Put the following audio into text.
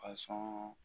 Kasɔn